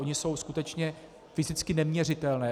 Ony jsou skutečně fyzicky neměřitelné.